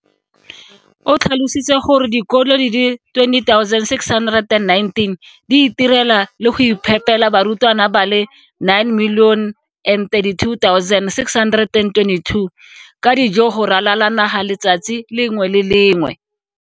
O tlhalositse gore dikolo di le 20 619 di itirela le go iphepela barutwana ba le 9 032 622 ka dijo go ralala naga letsatsi le lengwe le le lengwe.